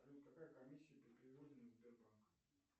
салют какая комиссия при переводе на сбербанк